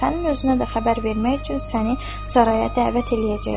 Sənin özünə də xəbər vermək üçün səni Saraya dəvət eləyəcəklər.